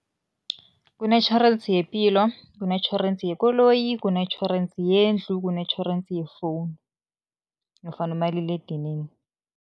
Kunetjhorensi yepilo, kunetjhorensi yekoloyi, kunetjhorensi yendlu, kunetjhorensi yefowunu nofana umaliledinini.